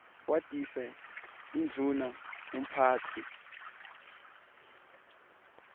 watise indvuna umphatsi